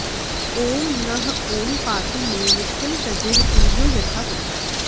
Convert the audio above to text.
ॐ नः ॐ पातु मे नित्यं तेजःपुञ्जो यथा तथा